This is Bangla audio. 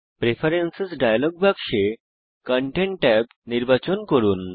প্রেফারেন্স ডায়ালগ বাক্সে কনটেন্ট ট্যাব নির্বাচন করুন